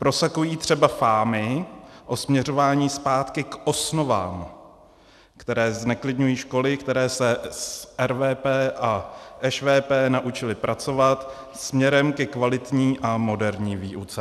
Prosakují třeba fámy o směřování zpátky k osnovám, které zneklidňují školy, které se s RVP a ŠVP naučily pracovat směrem ke kvalitní a moderní výuce.